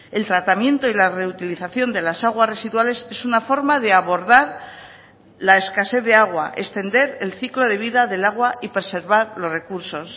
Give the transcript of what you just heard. el tratamiento y la reutilización de las aguas residuales es una forma de abordar la escasez de agua extender el ciclo de vida del agua y preservar los recursos